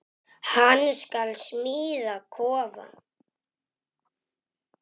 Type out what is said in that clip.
Hann skal smíða kofa.